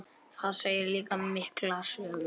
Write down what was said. Það segir líka mikla sögu.